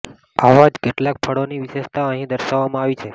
આવા જ કેટલાક ફળોની વિશેષતા અહીં દર્શાવવામાં આવી છે